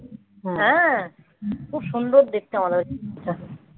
হ্যাঁ. হ্যাঁ. খুব সুন্দর দেখতে আমাদের